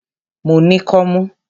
Mo ní kọ́mú.